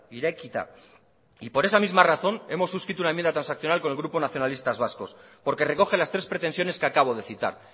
irekita y por esa misma razón hemos suscrito una enmienda transaccional con el grupo nacionalistas vascos porque recoge las tres pretensiones que acabo de citar